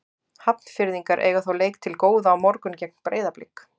Hafnfirðingar eiga þó leik til góða á morgun gegn Breiðablik.